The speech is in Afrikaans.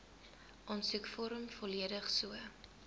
aansoekvorm volledig so